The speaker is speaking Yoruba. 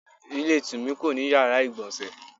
Ilé Tùmí kò ní yàrá ìgbọ̀nsẹ̀